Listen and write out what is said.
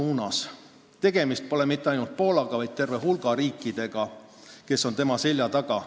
Ja tegemist pole mitte ainult Poolaga, vaid terve hulga riikidega, kes on tema selja taga.